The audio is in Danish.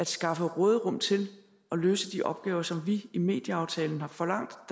skaffe råderum til at løse de opgaver som vi i medieaftalen har forlangt